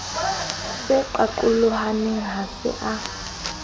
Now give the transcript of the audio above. se qaqolohane ha se a